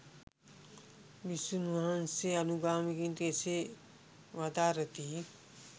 භික්‍ෂූන් වහන්සේ අනුගාමිකයන්ට එසේ වදාරති.